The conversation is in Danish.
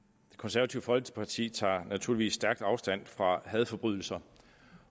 konservative folkeparti tager naturligvis stærkt afstand fra hadforbrydelser